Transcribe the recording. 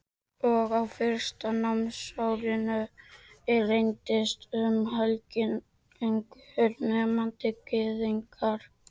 Og á fyrsta námsári reyndist um helmingur nemenda Gyðingar.